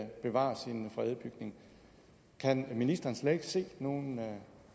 bevare sin fredede bygning kan ministeren slet ikke se nogen